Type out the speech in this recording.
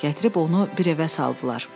Gətirib onu bir evə saldılar.